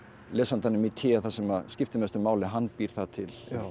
lesandanum í té það sem skiptir mestu máli hann býr það til